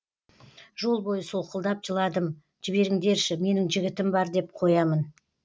жол бойы солқылдап жыладым жіберіңдерші менің жігітім бар деп қоямын